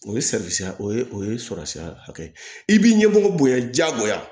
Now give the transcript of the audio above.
O ye salisira o ye o ye sɔrɔsira hakɛ ye i b'i ɲɛmɔgɔ bonya jagoya